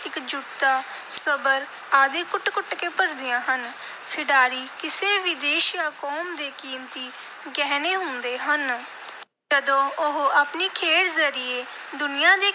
ਇਕਜੁੱਟਤਾ, ਸਬਰ ਆਦਿ ਕੁੱਟ-ਕੁੱਟ ਕੇ ਭਰਦੀਆਂ ਹਨ। ਖਿਡਾਰੀ ਕਿਸੇ ਵੀ ਦੇਸ਼ ਜਾਂ ਕੌਮ ਦੇ ਕੀਮਤੀ ਗਹਿਣੇ ਹੁੰਦੇ ਹਨ। ਜਦੋਂ ਉਹ ਆਪਣੀ ਖੇਡ ਜ਼ਰੀਏ ਦੁਨੀਆ ਦੇ